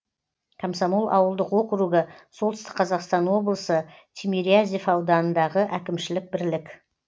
комсомол ауылдық округі солтүстік қазақстан облысы тимирязев ауданындағы әкімшілік бірлік